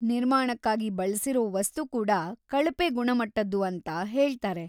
ನಿರ್ಮಾಣಕ್ಕಾಗಿ ಬಳ್ಸಿರೋ ವಸ್ತು ಕೂಡ ಕಳಪೆ ಗುಣಮಟ್ಟದ್ದು ಅಂತ ಹೇಳ್ತಾರೆ.